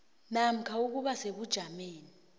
namkha ukuba sebujameni